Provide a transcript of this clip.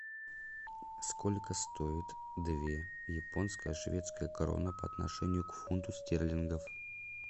сколько стоит две японская шведская крона по отношению к фунту стерлингов